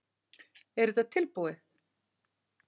Er þetta tilbúið?